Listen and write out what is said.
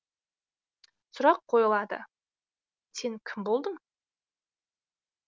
сұрақ қойылады сен кім болдың